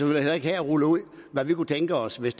heller ikke her rulle ud hvad vi kunne tænke os hvis